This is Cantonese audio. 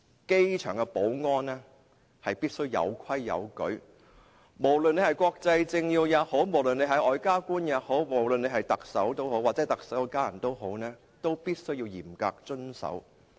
機場保安必須有規有矩，不論是國際政要、外交官、特首或特首家人也必須嚴格遵守。